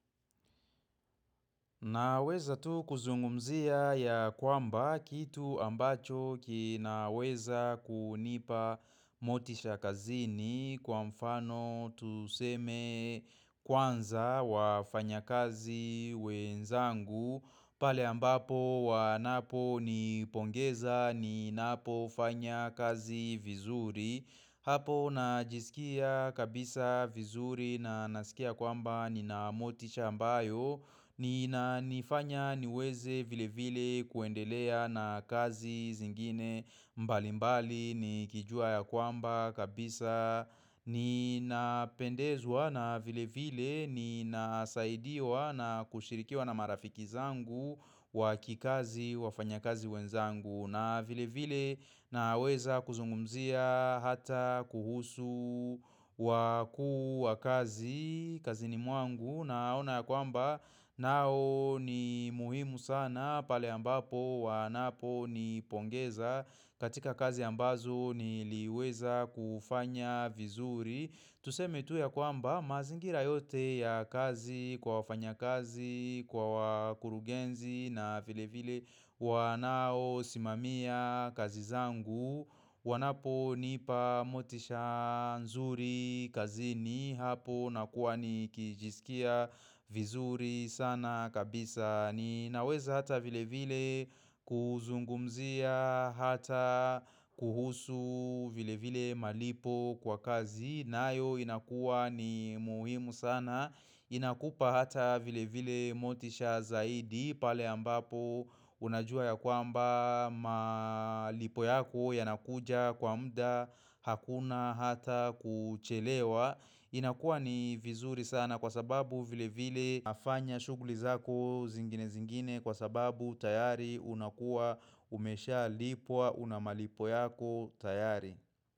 Naweza tu kuzungumzia ya kwamba kitu ambacho kinaweza kunipa motisha kazini kwa mfano tuseme kwanza wa fanya kazi wenzangu. Pale ambapo wanapo ni pongeza ni napo fanya kazi vizuri Hapo na jisikia kabisa vizuri na nasikia kwamba ni na motisha mbayo ni na nifanya niweze vile vile kuendelea na kazi zingine mbali mbali ni kijua ya kwamba kabisa ni na pendezwa na vile vile ni nasaidia wa na kushirikiwa na marafiki zangu wa kikazi wa fanya kazi wenzangu na vile vile na weza kuzungumzia hata kuhusu wa kuu wa kazi kazi ni mwangu na ona ya kwamba nao ni muhimu sana pale ambapo wanapo ni pongeza katika kazi ambazo niliweza kufanya vizuri Tuseme tu ya kwamba mazingira yote ya kazi kwa wafanya kazi kwa kurugenzi na vile vile wanao simamia kazi zangu wanapo nipa motisha nzuri kazini hapo na kuwa nikijisikia vizuri sana kabisa Ninaweza hata vile vile kuzungumzia hata kuhusu vile vile malipo kwa kazi na ayo inakuwa ni muhimu sana inakupa hata vile vile motisha zaidi pale ambapo unajua ya kwamba malipo yako yanakuja kwa mda hakuna hata kuchelewa inakuwa ni vizuri sana kwa sababu vile vile nafanya shughuli zako zingine zingine kwa sababu tayari unakuwa umesha lipwa unamalipo yako tayari.